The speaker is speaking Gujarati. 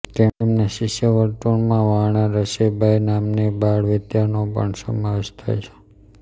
તેમના શિષ્યવર્તુળમાં વાણારસીબાઇ નામની બાળવિધવાનો પણ સમાવેશ થાય છે